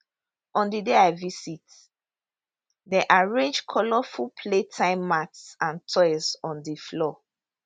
on di day i visit dem arrange colourful playtime mats and toys on di floor